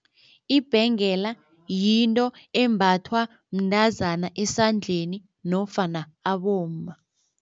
Ibhengela yinto embathwa mntazana esandleni nofana abomma.